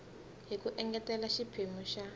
hi ku engetela xiphemu xa